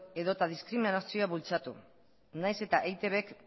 edota diskriminazioa bultzatu nahiz eta eitbk